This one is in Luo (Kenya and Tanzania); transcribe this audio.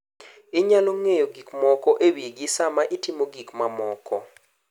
Inyalo ng’eyo gik moko e wigi sama itimo gik mamoko.